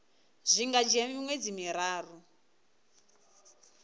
zwi nga dzhia miṅwedzi miraru